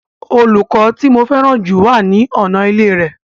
Olùkọ́ tí mo fẹ́ràn jù wà ní ọ̀nà ilé rẹ̀